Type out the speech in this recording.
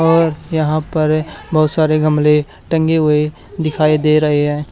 और यहां पर बहोत सारे गमले टंगे हुए दिखाई दे रहे हैं।